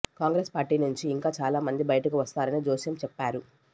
Congress party నుంచి ఇంకా చాలామంది బయటకు వస్తారని జోస్యం చెప్పారు